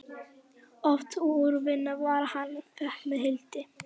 Oft úr vinnu far hann fékk með Hildi.